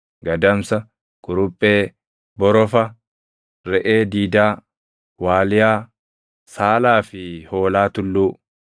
gadamsa, kuruphee, borofa, reʼee diidaa, waaliyaa, saalaa fi hoolaa tulluu.